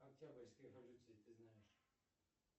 октябрьской революции ты знаешь